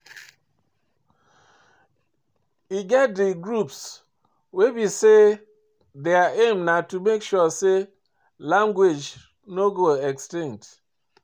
E get di groups wey be say their aim na to make sure sey language no go extinct